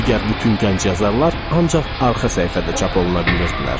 Digər bütün gənc yazarlar ancaq arxa səhifədə çap oluna bilirdilər.